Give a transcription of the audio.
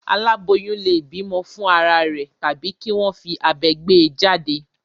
Àláboyún lè bímọ fún ara rẹ̀ tàbí kí wọ́n fi abẹ gbé e jáde.